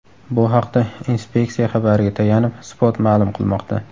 Bu haqda inspeksiya xabariga tayanib, Spot ma’lum qilmoqda .